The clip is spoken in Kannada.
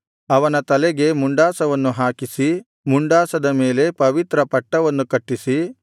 ಅವನ ತಲೆಗೆ ಮುಂಡಾಸವನ್ನು ಹಾಕಿಸಿ ಮುಂಡಾಸದ ಮೇಲೆ ಪವಿತ್ರ ಪಟ್ಟವನ್ನು ಕಟ್ಟಿಸಿ